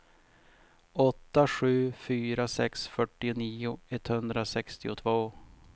åtta sju fyra sex fyrtionio etthundrasextiotvå